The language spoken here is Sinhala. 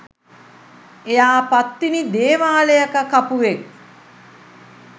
එයා පත්තිනි දේවාලයක කපුවෙක්